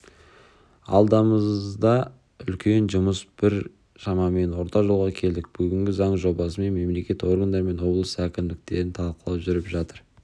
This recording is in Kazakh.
алдамызда үлкен жұмыс тұр біз шамамен орта жолға келдік бүгінде заң жобасын мемлекеттік органдармен облыс әкімдіктерімен талқылау жүріп жатыр